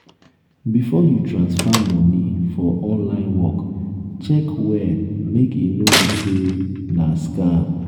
before you transfer money for online work check well make e no be sey um na scam